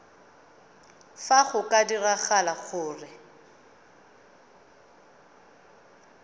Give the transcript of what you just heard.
fa go ka diragala gore